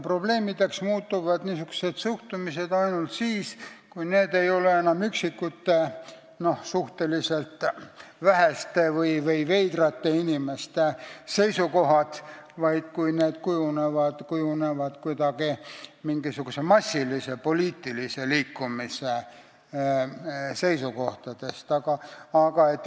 Probleemiks muutub niisugune suhtumine ainult siis, kui tegu ei ole enam üksikute, suhteliselt väheste või veidrate inimeste seisukohtadega, vaid neist kujunevad mingisuguse massilise poliitilise liikumise seisukohad.